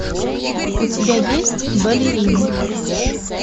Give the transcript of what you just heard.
у тебя есть балерины